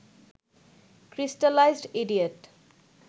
crystallised idiot